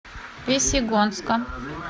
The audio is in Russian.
весьегонска